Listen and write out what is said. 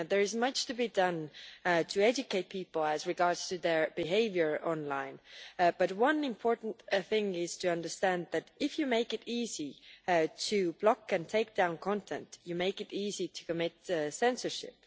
There is much to be done to educate people as regards to their behaviour online, but one important thing is to understand that if you make it easy to block and take down content, you make it easy to commit censorship.